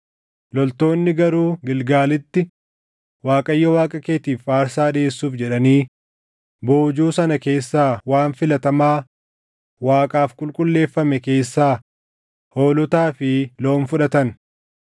Loltoonni garuu Gilgaalitti Waaqayyo Waaqa keetiif aarsaa dhiʼeessuuf jedhanii boojuu sana keessaa waan filatamaa Waaqaaf qulqulleeffame keessaa hoolotaa fi loon fudhatan.”